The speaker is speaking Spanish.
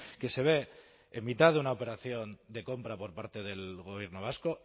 que se ve en mitad de una operación de compra por parte del gobierno vasco